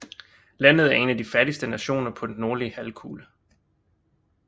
Landet er en af de fattigste nationer på den nordlige halvkugle